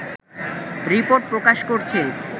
report প্রকাশ করেছে